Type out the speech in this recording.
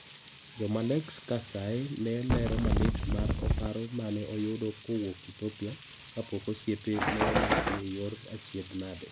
Jomalex Kasaye no lero malit mar oparo mane oyude kowuok Ethiopia kapok osiepe ne omaki, yor achiedh nade.